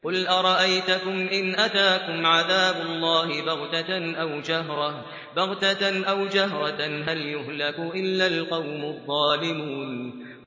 قُلْ أَرَأَيْتَكُمْ إِنْ أَتَاكُمْ عَذَابُ اللَّهِ بَغْتَةً أَوْ جَهْرَةً هَلْ يُهْلَكُ إِلَّا الْقَوْمُ الظَّالِمُونَ